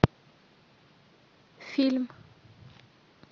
фильм